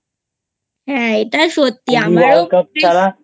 হ্যাঁ এটা সত্যি আমারও